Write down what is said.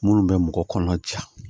Minnu bɛ mɔgɔ kɔnɔ ja